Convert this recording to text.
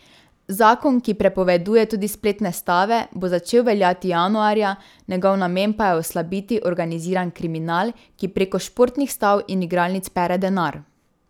Zakon, ki prepoveduje tudi spletne stave, bo začel veljati januarja, njegov namen pa je oslabiti organiziran kriminal, ki preko športnih stav in igralnic pere denar.